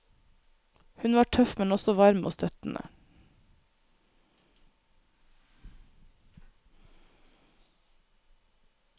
Hun var tøff, men også varm og støttende.